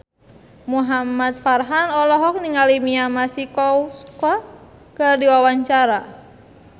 Muhamad Farhan olohok ningali Mia Masikowska keur diwawancara